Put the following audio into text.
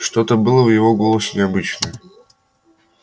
что-то было в его голосе необычное